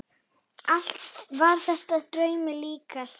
Allt var þetta draumi líkast.